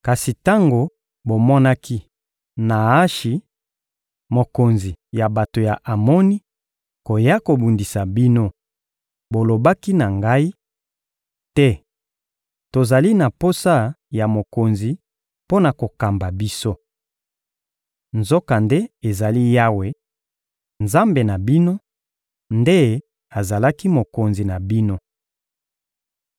Kasi tango bomonaki Naashi, mokonzi ya bato ya Amoni, koya kobundisa bino, bolobaki na ngai: «Te! Tozali na posa ya mokonzi mpo na kokamba biso.» Nzokande ezali Yawe, Nzambe na bino, nde azalaki mokonzi na bino.